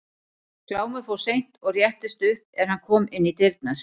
Glámur fór seint og réttist upp er hann kom inn í dyrnar.